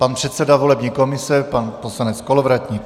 Pan předseda volební komise pan poslanec Kolovratník.